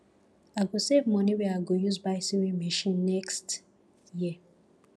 i go save moni wey i go use buy sewing machine next year